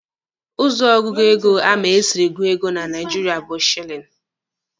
Ụzọ ọgụgụ ego ama esiri gụọ ego na Naijiria bụ shilini.